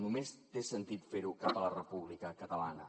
només té sentit fer ho cap a la república catalana